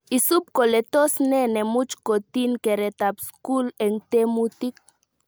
Isub kole tos nee nemuch kotin keretab skul eng temutik